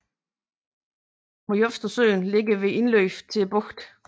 Morzjovetsøen ligger ved indløbet til bugten